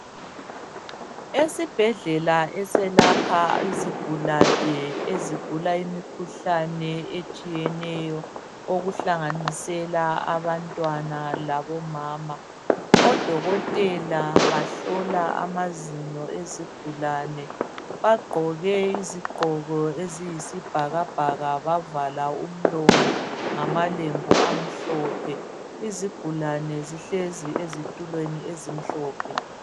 Esibhedlela eseyelapha izigulane ezigula imikhuhlane etshiyeneyo okuhlanganisela abantwana labomama odokotela bahlola amazinyo ezigulane bagqoke izigqoko eziyisibhakabhaka bavala umlomo ngamalembu amhlophe izigulane zihlezi ezitulweni ezimhlophe